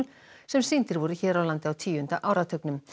sem sýndir voru hér á landi á tíunda áratugnum